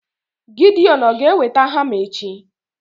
Gideon ọ̀ ga-eweta hama echi?